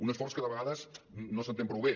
un esforç que de vegades no s’entén prou bé